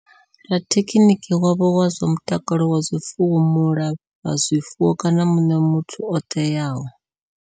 Rathekhiniki wavho wa zwa mutakalo wa zwifuwo, mulafha zwifuwo kana muṋwe muthu o teaho.